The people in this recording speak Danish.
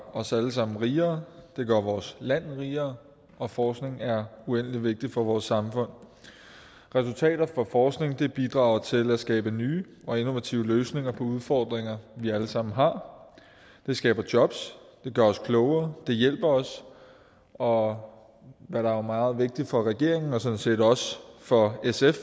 os alle sammen rigere det gør vores land rigere og forskning er uendelig vigtigt for vores samfund resultater fra forskning bidrager til at skabe nye og innovative løsninger på udfordringer vi alle sammen har det skaber jobs det gør os klogere det hjælper os og hvad der jo er meget vigtigt for regeringen og sådan set også for sf